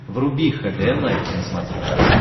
вруби хд лайф на смотрешке